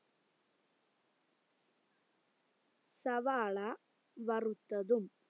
സവാള വറുത്തതും